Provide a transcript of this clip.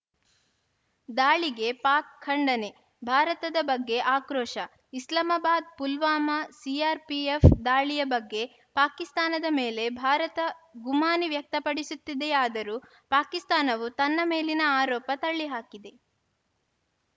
ದಾಳಿಗೆ ಪಾಕ್‌ ಖಂಡನೆ ಭಾರತದ ಬಗ್ಗೆ ಆಕ್ರೋಶ ಇಸ್ಲಾಮಾಬಾದ್‌ ಪುಲ್ವಾಮಾ ಸಿಆರ್‌ಪಿಎಫ್‌ ದಾಳಿಯ ಬಗ್ಗೆ ಪಾಕಿಸ್ತಾನದ ಮೇಲೆ ಭಾರತ ಗುಮಾನಿ ವ್ಯಕ್ತಪಡಿಸುತ್ತಿದೆಯಾದರೂ ಪಾಕಿಸ್ತಾನವು ತನ್ನ ಮೇಲಿನ ಆರೋಪ ತಳ್ಳಿಹಾಕಿದೆ